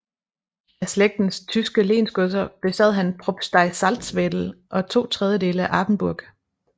Af Slægtens tyske lensgodser besad han Propstei Salzwedel og 2 tredjedele af Apenburg